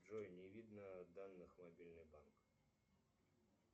джой не видно данных мобильный банк